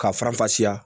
Ka faranfasiya